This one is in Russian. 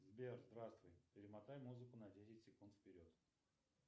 сбер здравствуй перемотай музыку на десять секунд вперед